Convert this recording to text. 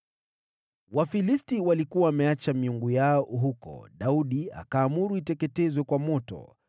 Wafilisti walikuwa wameacha miungu yao huko, Daudi akaamuru iteketezwe kwa moto.